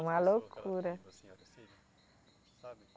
Uma loucura.